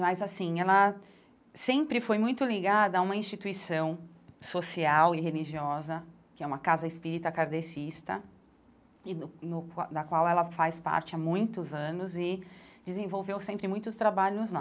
Mas, assim, ela sempre foi muito ligada a uma instituição social e religiosa, que é uma casa espírita kardecista, e no no da qual ela faz parte há muitos anos e desenvolveu sempre muitos trabalhos lá.